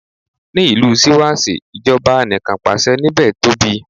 Ní ìlú Síwásí, ìjọba Anìkanpàṣẹ níbè tóbi.